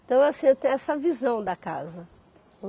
Então, assim, eu tenho essa visão da casa.